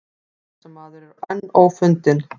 Árásarmaður enn ófundinn